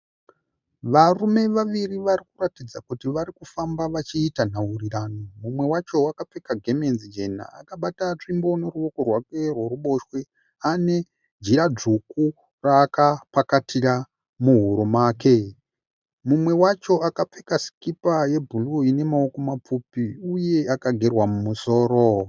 Varume vaviri vari kuratidza kuti vari kufamba vachiita nhaurirano. Umwe wacho akapfeka gemenzi jena akabata nzvimbo neruoko rwake rweruboshwe. Ane jira dzvuku raakapakatira muhuro make. Mumwe wacho akapfeka sikipa yebhuruu ine maoko mapfupi uye akagerwa musoro.